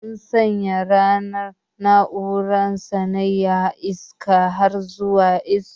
Mun sanya na'urar sanyaya iska har zuwa max.